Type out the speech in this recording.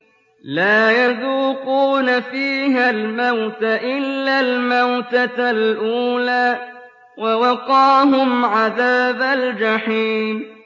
لَا يَذُوقُونَ فِيهَا الْمَوْتَ إِلَّا الْمَوْتَةَ الْأُولَىٰ ۖ وَوَقَاهُمْ عَذَابَ الْجَحِيمِ